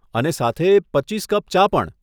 અને સાથે પચીસ કપ ચા પણ.